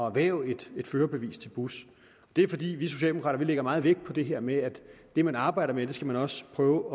erhverve et førerbevis til bus det er fordi vi socialdemokrater lægger meget vægt på det her med at det man arbejder med skal man også prøve